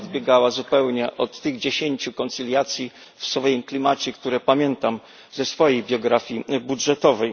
Odbiegała ona zupełnie od tych dziesięciu koncyliacji w swoim klimacie, które pamiętam ze swojej biografii budżetowej.